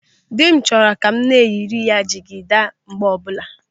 Dị m chọrọ ka m na-eyiri ya jigida mgbe ọbụla.